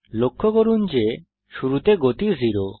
লক্ষ্য করুন যে শুরুতে গতি 0